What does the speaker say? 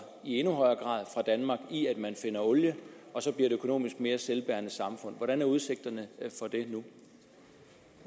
i endnu højere grad fra danmark jo i kraft af at man finder olie og så bliver et økonomisk mere selvbærende samfund hvordan er udsigterne